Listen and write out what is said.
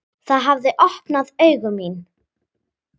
Það hafði opnað augu mín.